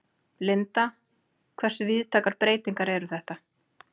Linda, hversu víðtækar breytingar eru þetta?